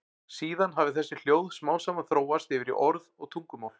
Síðan hafi þessi hljóð smám saman þróast yfir í orð og tungumál.